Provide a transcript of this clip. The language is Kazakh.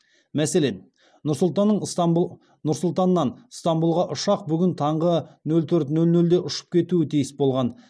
мәселен нұр сұлтаннан ыстанбұлға ұшақ бүгін таңғы нөл төрт нөл нөлде ұшып кетуі тиіс болған